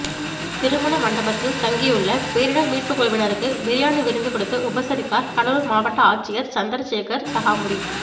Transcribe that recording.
திருமண மண்டபத்தில் தங்கியுள்ள பேரிடர் மீட்புக்குழுவினருக்கு பிரியாணி விருந்து கொடுத்து உபசரித்தார் கடலூர் மாவட்ட ஆட்சியர் சந்திர சேகர் சகாமுரி